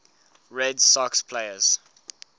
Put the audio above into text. red sox players